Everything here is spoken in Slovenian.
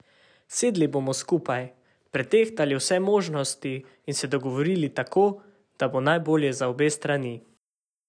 Sedli bomo skupaj, pretehtali vse možnosti in se dogovorili tako, da bo najbolje za obe strani.